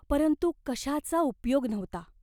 परंतु कशाचा उपयोग नव्हता.